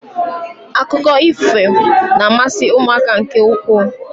Akụkọ ifo na-amasị ụmụaka nke ukwuu